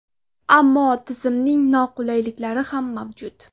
Ammo tizimning noqulayliklari ham mavjud.